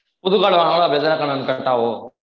புது card வாங்குனாலும் அதே தான maam cut ஆவும்